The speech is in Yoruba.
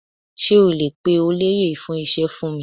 Sé o lè pe olóyè fún ise fún mi?